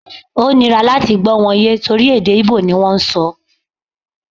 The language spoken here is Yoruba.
O nira láti gbó̩ wọn ye tori pe èdè íbò ni wọn n sọ